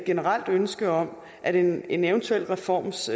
generelt ønske om at en en eventuel reforms